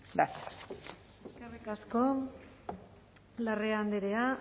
gracias eskerrik asko larrea andrea